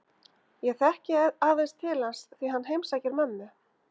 Ég þekki aðeins til hans því hann heimsækir mömmu